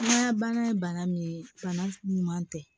Ŋa bana ye bana min ye bana ɲuman tɛ